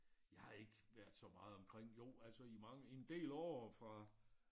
Jeg har ikke været så meget omkring jo altså i mange i en del år fra